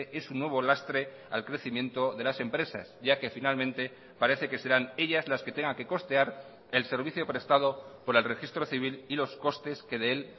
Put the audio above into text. es un nuevo lastre al crecimiento de las empresas ya que finalmente parece que serán ellas las que tengan que costear el servicio prestado por el registro civil y los costes que de él